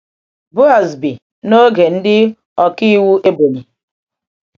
Boaz bi um n’oge um ndị ọkàiwu Ebonyi.